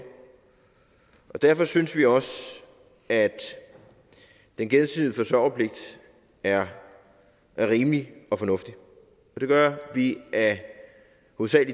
derfor synes vi også at den gensidige forsørgerpligt er rimelig og fornuftig det gør vi af